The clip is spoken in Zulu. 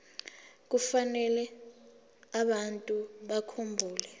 kufanele abantu bakhumbule